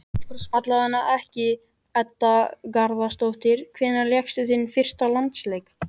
Allavega ekki Edda Garðarsdóttir Hvenær lékstu þinn fyrsta landsleik?